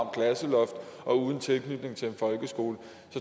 klasseloft og uden tilknytning til en folkeskole